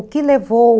O que levou...